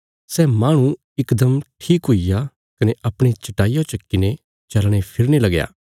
सै माहणु इकदम ठीक हुईग्या कने अपणी चट्टाईया चक्कीने चलने फिरने लगया